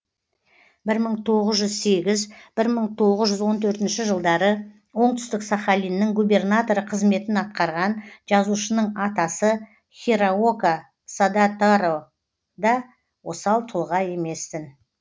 бір мың тоғыз жүз сегіз бір мың тоғыз жүз он төрт жылдары оңтүстік сахалиннің губернаторы қызметін атқарған жазушының атасы хираока садатаро да осал тұлға емес тін